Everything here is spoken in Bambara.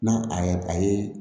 N'a a yɛrɛ a ye